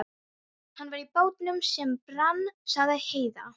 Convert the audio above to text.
Hann var í bátnum sem brann, sagði Heiða.